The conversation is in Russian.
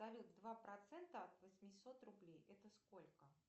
салют два процента от восьмисот рублей это сколько